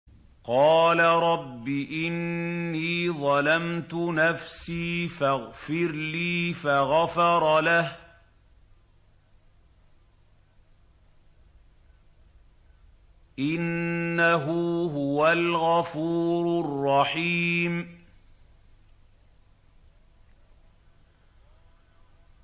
قَالَ رَبِّ إِنِّي ظَلَمْتُ نَفْسِي فَاغْفِرْ لِي فَغَفَرَ لَهُ ۚ إِنَّهُ هُوَ الْغَفُورُ الرَّحِيمُ